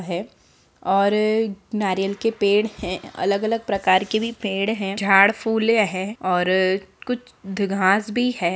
--है और नारियल के पेड़ है अलग-अलग प्रकार के भी पेड़ है झाड़ फूल है और कुछ घास भी है।